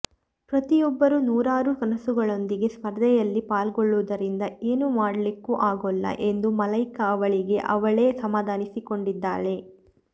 ಪ್ರತಿಯೊಬ್ಬರೂ ನೂರಾರು ಕನಸುಗಳೊಂದಿಗೆ ಸ್ಪರ್ಧೆಯಲ್ಲಿ ಪಾಲ್ಗೊಳ್ಳುವುದರಿಂದ ಏನು ಮಾಡ್ಲಿಕ್ಕೂ ಆಗೋಲ್ಲ ಎಂದು ಮಲೈಕಾ ಅವಳಿಗೆ ಅವಳೇ ಸಮಾಧಾನಿಸಿಕೊಂಡಿದ್ದಾಳೆ